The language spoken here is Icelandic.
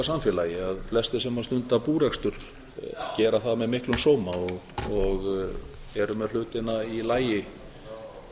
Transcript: samfélagi að flestir sem stunda búrekstur gera það með miklum sóma og eru með hlutina í lagi á